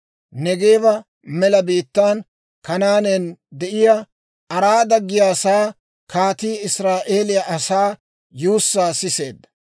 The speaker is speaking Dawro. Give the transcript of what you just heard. Neegeeba mela biittaan, Kanaanen de'iyaa Araada giyaasaa kaatii Israa'eeliyaa asaa yuussaa siseedda.